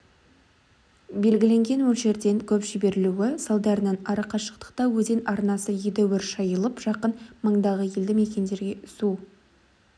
белгіленген мөлшерден көп жіберілуі салдарынан арақашықтықта өзен арнасы едәуір шайылып жақын маңдағы елді мекендерге су